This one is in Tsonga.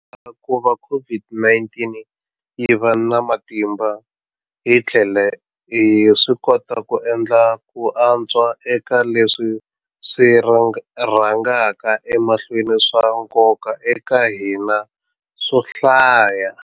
Ka kuva COVID-19 yi va na matimba, hi tlhele hi swikota ku endla ku antswa eka leswi swi rhangaka emahlweni swa nkoka eka hina swo hlaya.